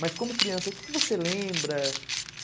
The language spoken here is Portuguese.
Mas como criança, o que você lembra?